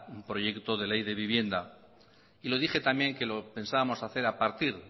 un proyecto de ley de vivienda y lo dije también que lo pensábamos hacer a partir